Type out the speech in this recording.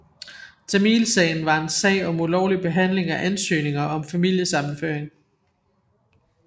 Tamilsagen var en sag om ulovlig behanding af ansøgninger om familiesammenføring